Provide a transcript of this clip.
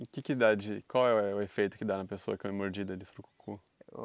E que que dá de... Qual é o é o efeito que dá na pessoa que é mordida de surucucu?